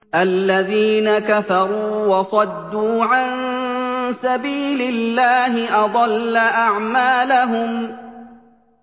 الَّذِينَ كَفَرُوا وَصَدُّوا عَن سَبِيلِ اللَّهِ أَضَلَّ أَعْمَالَهُمْ